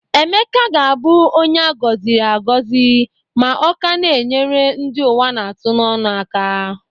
Emeka ga-abụ onye a gọziri agọ ma ọ ka na-enyere ndị ụwa na-atụ n'onụ aka